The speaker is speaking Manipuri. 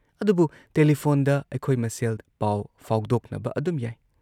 ꯑꯗꯨꯕꯨꯨ ꯇꯦꯂꯤꯐꯣꯟꯗ ꯑꯩꯈꯣꯏ ꯃꯁꯦꯜ ꯄꯥꯎ ꯐꯥꯎꯗꯣꯛꯅꯕ ꯑꯗꯨꯝ ꯌꯥꯏ ꯫